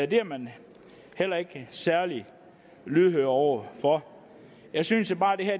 det er man heller ikke særlig lydhør over for jeg synes